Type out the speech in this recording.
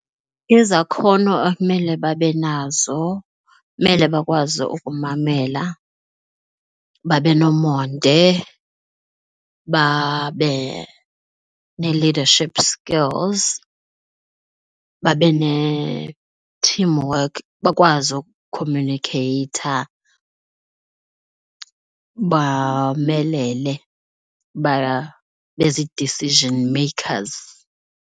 Izakhono ekumele babe nazo kumele bakwazi ukumamela, babe nomonde, babe nee-leadership skills, babe ne-team work, bakwazi ukukhomyunikheyitha, bomelele babe zii-decision makers.